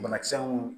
Banakisɛ mun